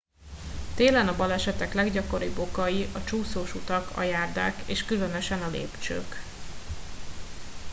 télen a balesetek leggyakoribb okai a csúszós utak a járdák és különösen a lépcsők